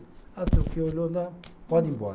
Ah não sei o quê, olhou lá, pode ir embora.